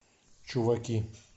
чуваки